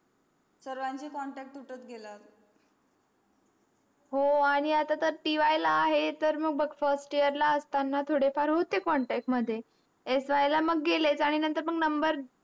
सर्वांचा contact तुटत गेला हो आन्ही आता TY ला आहे first year ला असताना थोडे फार होते contact मध्ये SY ला मग गेलेच आणि नंतर मग नंतर number